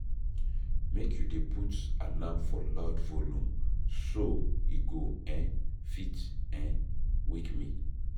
Make you dey put alarm for loud volume, so e go um fit um wake me.